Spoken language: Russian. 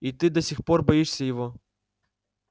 и ты до сих пор боишься его